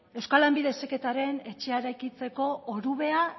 euskal lanbide heziketaren etxea eraikitzeko orubea